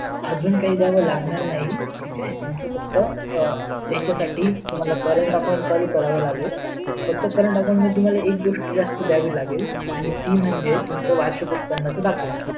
आजून काही दयावे लागणार नाही ठीक आहे तुम्हच फक्त त्याच्यासाठी current account चालू करावं लागेल फक्त cureent account मध्ये तुम्हाला एक गोष्ट जास्त दयावी लागेल आणि ती म्हणजे तुम्हचा वार्षिक उत्पन्नचा दाखला